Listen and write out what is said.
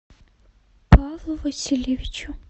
павлу васильевичу